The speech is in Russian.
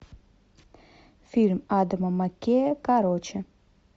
фильм адама маккея короче